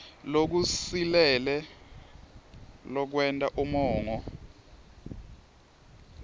lokusilele lokwenta umongo